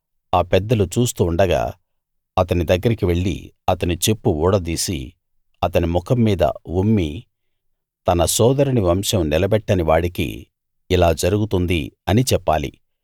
ఆ పెద్దలు చూస్తూ ఉండగా అతని దగ్గరికి వెళ్ళి అతని చెప్పు ఊడదీసి అతని ముఖం మీద ఉమ్మి తన సోదరుని వంశం నిలబెట్టని వాడికి ఇలా జరుగుతుంది అని చెప్పాలి